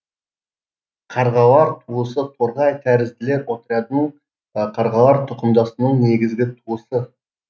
қарғалар туысы торғай тәрізділер отрядының қарғалар тұқымдасының негізгі туысы